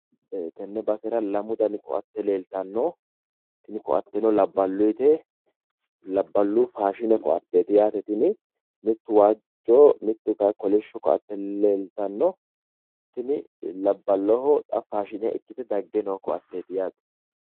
Tenne basera lamu dani ko"atte leeltanno tini ko"atteno labballuyiite labballu faashine ko'atteeti yaate tini mittu waajjoho mittu kayii kolishsho ko"atte leeltanno tini labballoho xa faashine ikkite dagge noo ko"atteeti yaate.